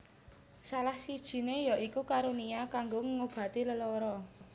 Salah sijiné ya iku karunia kanggo ngobati lelara